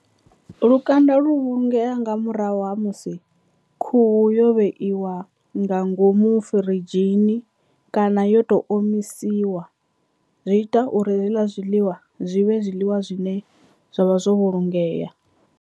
Lukanda lu vhulungea nga murahu ha musi khuhu yo vheiwa nga ngomu firidzhi tsini kana yo tou omisiwa zwi ita uri hezwiḽa zwiḽiwa zwi vhe zwiḽiwa zwine zwavha zwo vhulungea.